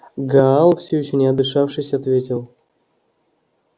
гаал всё ещё не отдышавшись ответил